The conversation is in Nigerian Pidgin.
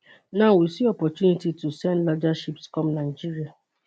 now we see opportunity to send larger ships come nigeria